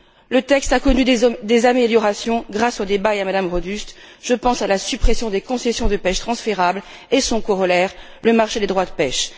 Le texte a connu des améliorations grâce aux débats et à Mme Rodust je pense à la suppression des concessions de pêche transférables et à son corollaire, le marché des droits de pêche.